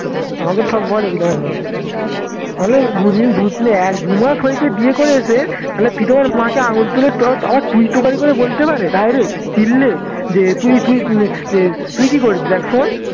আমাকে তো সব বলে প্রিতমের মা তাহলে দুদিন এক দু মাস হয়েছে বিয়ে করে এসে তাহলে প্রিতমের মাকে আঙুল তুলে তারপর তুই তকারী করে বলতে পারে direct যে তুই তুই কি করেছিস একসময়ে